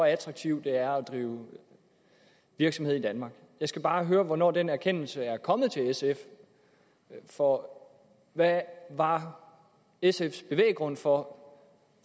attraktivt det er at drive virksomhed i danmark jeg skal bare høre hvornår den erkendelse er kommet til sf for hvad var sfs bevæggrund for